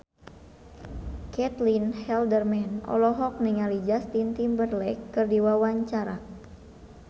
Caitlin Halderman olohok ningali Justin Timberlake keur diwawancara